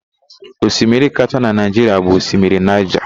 Osimiri kachaa na Naịjiria bụ Osimiri Naịja.